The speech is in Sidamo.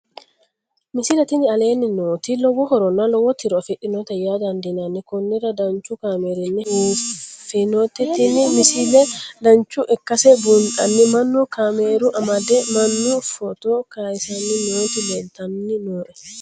misile tini aleenni nooti lowo horonna lowo tiro afidhinote yaa dandiinanni konnira danchu kaameerinni haa'noonnite biiffannote tini misile dancha ikkase buunxanni mannu kaamera amade manna footo kayisanni nooti leeltanni nooe